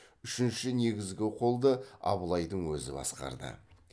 үшінші негізгі қолды абылайдың өзі басқарды